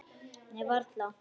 Nei, varla.